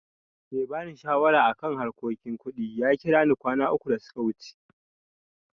Mai ba ni shawara a kan harkokin kuɗi ya kira ni kwana uku da suka wuce.